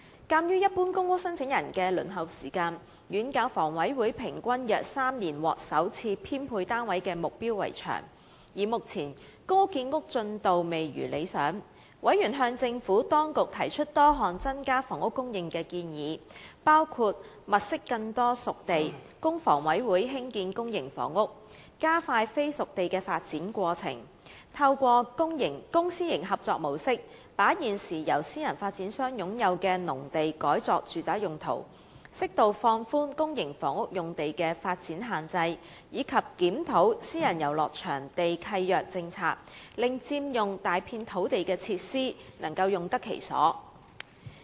鑒於一般公屋申請人的輪候時間遠較房委會所訂平均約3年獲首次編配單位的目標為長，而目前公屋建屋進度未如理想，委員向政府當局提出多項增加房屋供應的建議，包括︰物色更多"熟地"，供房委會興建公營房屋；加快非"熟地"的發展過程；透過公私營合作模式，把現時由私人發展商擁有的農地改作住宅用途；適度放寬公營房屋用地的發展限制，以及檢討私人遊樂場地契約政策，令佔用大幅土地的設施，能用得其所。